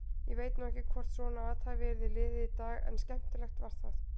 Ég veit nú ekki hvort svona athæfi yrði liðið í dag en skemmtilegt var það.